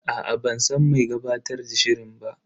Aa ban san mai gabatar da shirin ba.